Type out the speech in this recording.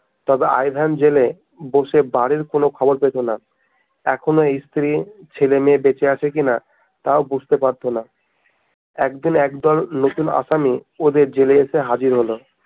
তবে Ivan জেলে বসে বাড়ির কোনো খবর পেতো না এখনো স্ত্রী ছেলে মেয়ে বেঁচে আছে কিনা তাও বুঝতে পারতো না একদিন একদল নতুন আসামী ওদের জেলে এসে হাজির হলো